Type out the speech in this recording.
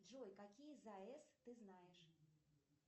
джой какие заэс ты знаешь